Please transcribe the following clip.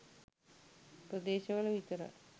ප්‍රදේශවල විතරයි.